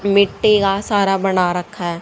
मिट्टी का सारा बना रखा--